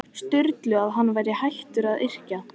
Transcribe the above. Sturlu að hann væri hættur að yrkja.